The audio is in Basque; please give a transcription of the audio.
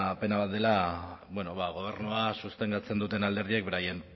pena bat dela gobernua sostengatzen duten alderdiek beraien